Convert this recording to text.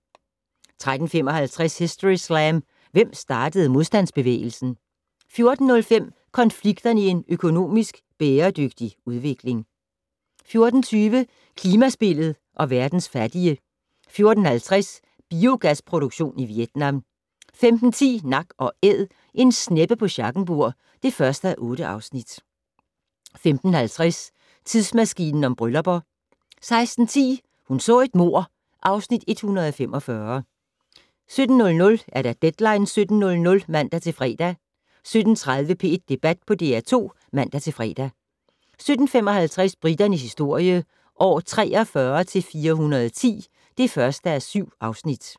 13:55: Historyslam - Hvem startede modstandsbevægelsen? 14:05: Konflikterne i en økonomisk bæredygtig udvikling 14:20: Klimaspillet og verdens fattige 14:50: Biogasproduktion i Vietnam 15:10: Nak & Æd - en sneppe på Schackenborg (1:8) 15:50: Tidsmaskinen om bryllupper 16:10: Hun så et mord (Afs. 145) 17:00: Deadline 17.00 (man-fre) 17:30: P1 Debat på DR2 (man-fre) 17:55: Briternes historie - år 43-410 (1:7)